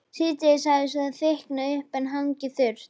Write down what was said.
Síðdegis hafði svo þykknað upp en hangið þurrt.